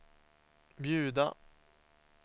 bjuda